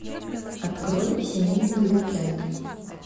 открой семейный уикенд